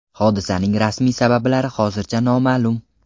Hodisaning rasmiy sabablari hozircha noma’lum.